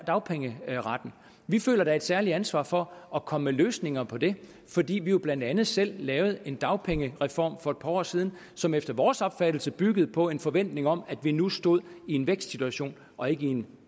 dagpengeretten vi føler da et særligt ansvar for at komme med løsninger på det fordi vi jo blandt andet selv lavede en dagpengereform for et par år siden som efter vores opfattelse byggede på en forventning om at vi nu stod i en vækstsituation og ikke i en